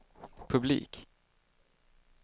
publik